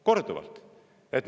Korduvalt!